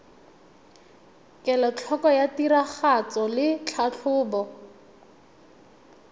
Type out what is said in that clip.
kelotlhoko ya tiragatso le tlhatlhobo